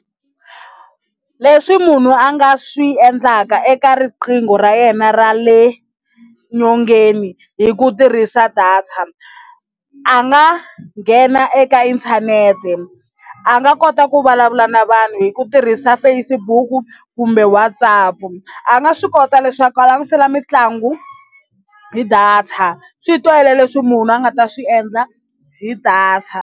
Leswi munhu a nga swi endlaka eka riqingho ra yena ra le nyongeni hi ku tirhisa data a nga nghena eka inthanete a nga kota ku vulavula na vanhu hi ku tirhisa Facebook kumbe WhatsApp a nga swi kota leswaku a langutisela mitlangu hi data swi tele leswi munhu a nga ta swi endla hi data.